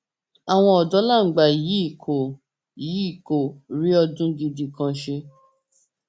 àwọn ọdọ làǹgbà yìí kò yìí kò rí ọdún gidi kan ṣe